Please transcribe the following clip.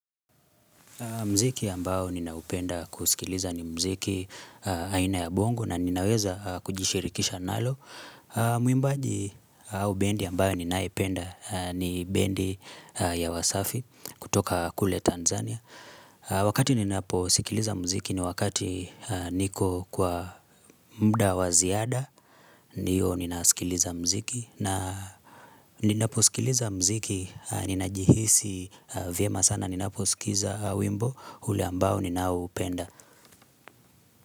Muziki ambao ninaupenda kusikiliza ni muziki aina ya bongo na ninaweza kujishirikisha nalo. Mwimbaji au bendi ambayo ninaipenda ni bendi ya wasafi kutoka kule Tanzania. Wakati ninaposikiliza muziki ni wakati niko kwa muda wa ziada ndiyo ninasikiliza muziki. Na ninaposikiliza muziki Ninajihisi vyema sana Ninaposikiza wimbo ule ambao ninaupenda.